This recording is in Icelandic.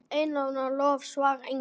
Einróma lof svarar Ingvar.